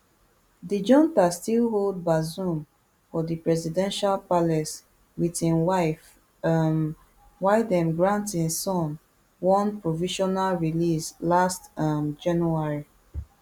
di junta still hold bazoum for di presidential palace wit im wife um while dem grant im son one provisional release last um january